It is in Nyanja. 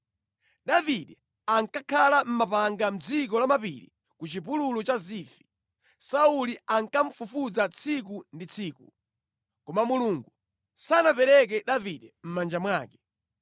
Davide ankakhala mʼmapanga mʼdziko lamapiri ku chipululu cha Zifi. Sauli ankamufufuza tsiku ndi tsiku, koma Mulungu sanapereke Davide mʼmanja mwake.